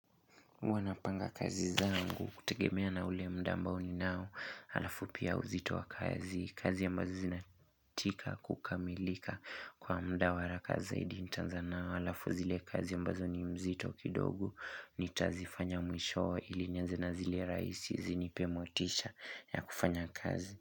Huwa napanga kazi zangu kutegemea na ule mda ambao ninao halafu pia uzito wa kazi, kazi yambazo zinatika kukamilika kwa mda wa haraka zaidi nitanza nao halafu zile kazi ambazo ni mzito kidogo nitazifanya mwisho ili nianze na zile raisi zinipe motisha ya kufanya kazi.